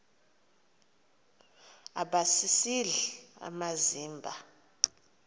aba sisidl amazimba